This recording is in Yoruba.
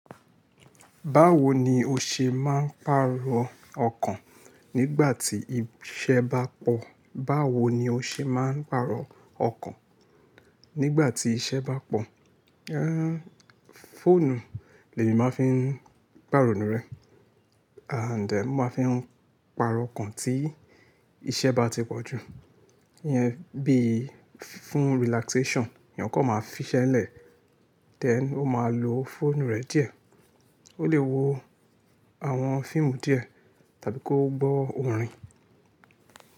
Báwo ni o ṣe máa ń pàrọ̀ ọkàn nígbà tí iṣẹ́ bá pọ̀? Báwo ni o ṣe máa ń pàrọ̀ ọkàn nígbà tí iṣẹ́ bá pọ̀? Fóònù, lèmí máa ń fi pàrọ̀nù rẹ and mo máa ń fi pàrọ̀ ọkàn tí iṣẹ́ bá ti pọ̀ jù. Bí fún relaxation, èèyàn kan máa fiṣẹ́ lẹ̀, then o máa lo fóònù rẹ̀ díẹ̀. O lè wo àwọn fíìmù díẹ̀ tàbí kó gbọ́ orin.